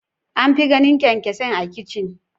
An fi ganin kyankyasai a kicin.